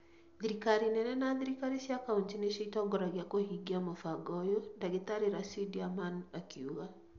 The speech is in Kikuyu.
Thirikari nene na thirikari cia kaunti nĩcio itongoragia kũhingia mũbango ũyũ," Dagĩtarĩ Racidi Aman kuuga